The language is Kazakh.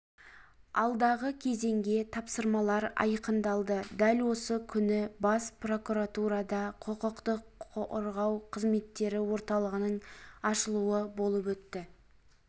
алдағы кезеңге тапсырмалар айқындалды дәл осы күні бас прокуратурада құқық қорғау қызметтері орталығының ашылуы болып өтті